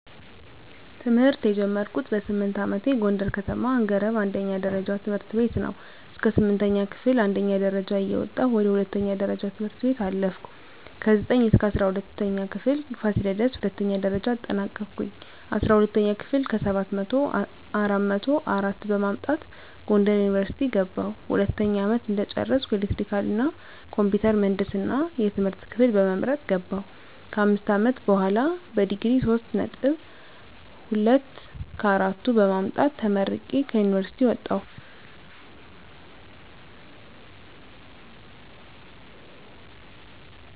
ትምህርት የጀመርኩት በስምንት አመቴ ጎንደር ከተማ አንገረብ አንደኛ ደረጃ ትምህርት ቤት ነው። እስከ ስምንተኛ ክፍል አንደኛ ደረጃ እየወጣሁ ወደ ሁለተኛ ደረጃ ትምህርት ቤት አለፍኩ። ከዘጠኝ እስከ እስራ ሁለተኛ ክፍል ፋሲለደስ ሁለተኛ ደረጃ አጠናቀኩኝ። አስራ ሁለተኛ ክፍል ከሰባት መቶው አራት መቶ አራት በማምጣት ጎንደር ዩኒቨርሲቲ ገባሁ። ሁለተኛ አመት እንደጨረስኩ ኤሌክትሪካል እና ኮምፒውተር ምህንድስና የትምህርት ክፍል በመምረጥ ገባሁ። ከአምስት አመት በሆላ በዲግሪ ሶስት ነጥብ ሁለት ከአራቱ በማምጣት ተመርቄ ከዩኒቨርሲቲ ወጣሁ።